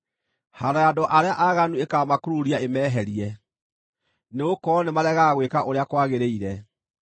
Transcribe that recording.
Haaro ya andũ arĩa aaganu ĩkaamakururia, ĩmeherie, nĩgũkorwo nĩmaregaga gwĩka ũrĩa kwagĩrĩire.